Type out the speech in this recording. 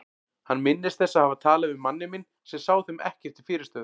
Hann minnist þess að hafa talað við manninn minn sem sá þeim ekkert til fyrirstöðu.